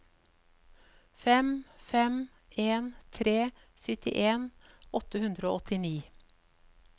fem fem en tre syttien åtte hundre og åttini